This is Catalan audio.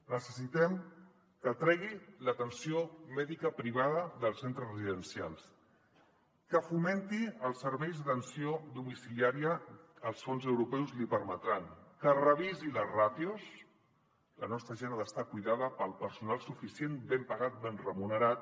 necessitem que tregui l’atenció mèdica privada dels centres residencials que fomen·ti els serveis d’atenció domiciliària els fons europeus l’hi permetran que revisi les ràtios la nostra gent ha d’estar cuidada pel personal suficient ben pagat ben remu·nerat